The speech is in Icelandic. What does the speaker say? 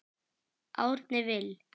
Árni Vill.